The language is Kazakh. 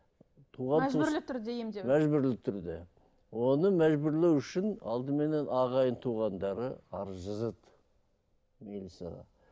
мәжбүрлі түрде емдеу мәжбүрлі түрде оны мәжбүрлеу үшін алдыменен ағайын туғандары арыз жазады милицияға